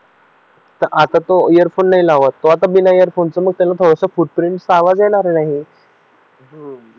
तर आता तो हेडफोन नाही लावत आता बिना हेडफोन मग त्याला थोडं फूट पिंट चा आवाज येणार नाही